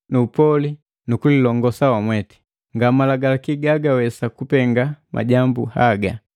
upoli nu kulilongosa wamweti. Nga Malagalaki gagawesa kupenga majambu haga.